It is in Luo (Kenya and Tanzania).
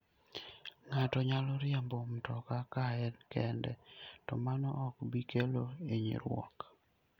Ng'ato nyalo riembo mtoka ka en kende, to mano ok bi kelo hinyruok.